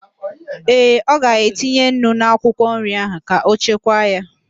Ee, ọ ga-etinye nnu n'akwụkwọ nri ahụ ka ọ chekwaa ya